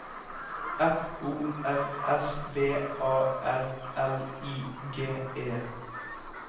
F O R S V A R L I G E